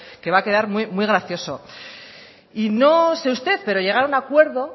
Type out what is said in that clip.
que va a quedar muy gracioso y no sé usted pero llegar a un acuerdo